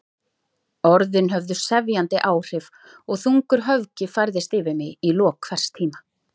Orðin höfðu sefjandi áhrif og þungur höfgi færðist yfir mig í lok hvers tíma.